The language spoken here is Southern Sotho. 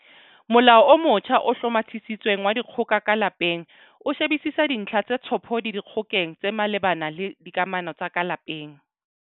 Molao o motjha o Hlomathisitsweng wa Dikgoka ka Lapeng o shebisisa dintlha tse tshophodi dikgokeng tse malebana le dikamano tsa ka lapeng.